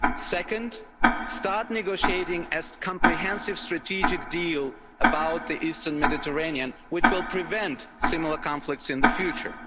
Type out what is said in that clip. Second, start negotiating a comprehensive strategic deal on the Eastern Mediterranean, which will prevent similar conflicts in the future.